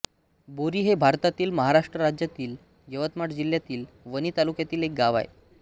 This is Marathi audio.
बोरी हे भारतातील महाराष्ट्र राज्यातील यवतमाळ जिल्ह्यातील वणी तालुक्यातील एक गाव आहे